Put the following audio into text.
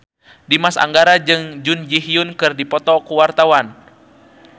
Dimas Anggara jeung Jun Ji Hyun keur dipoto ku wartawan